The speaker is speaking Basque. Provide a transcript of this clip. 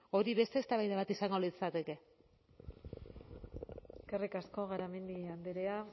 hori beste eztabaida bat izango litzateke eskerrik asko garamendi andrea